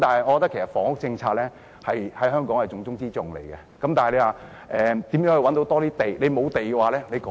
我認為房屋政策在香港是重中之重，但如何能覓得更多土地呢？